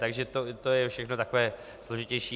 Takže to je všechno takové složitější.